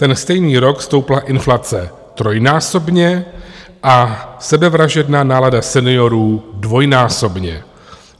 Ten stejný rok stoupla inflace trojnásobně a sebevražedná nálada seniorů dvojnásobně.